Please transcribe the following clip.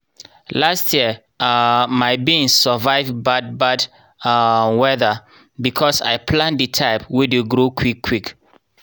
last year um my beans survive bad bad um weather because i plant the type wey dey grow quick quick.